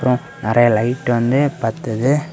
நெறைய லைட் வந்து பத்துது.